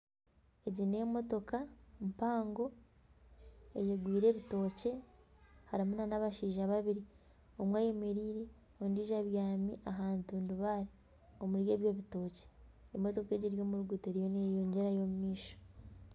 Egi ni emotoka mpango eyegwire ebitookye harimu nana abashaija babiri omwe ayemereire ondijo abyami aha ntundubaare omuri ebyo bitookye . Emotoka egyo eri omu ruguuto eriyo neyeyongyerayo omu maisho.